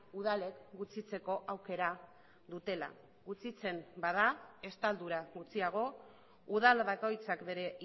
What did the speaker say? udalek gutxitzeko aukera dutela gutxitzen bada estaldura gutxiago udal bakoitzak bere